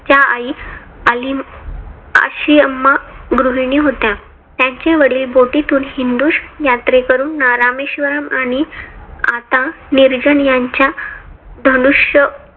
त्यांच्या आई आशिमा अम्मा गृहिणी होत्या. त्यांचे वडील बोटीतून हिंदू यात्रेकरूंना रामेश्वरम आणि आता निर्जन यांच्या धनुष्य